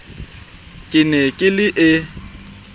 ke ne ke le e